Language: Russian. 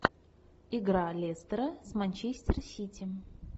игра лестера с манчестер сити